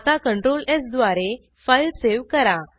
आता Ctrl स् द्वारे फाईल सेव्ह करा